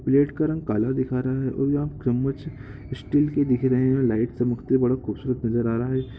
Plate का रंग काला दिखा रहा है और यह पे चम्मच स्टील के दिख रहे हैं लाइट चमकते बड़ा खूबसूरत नज़र आ रहा है ।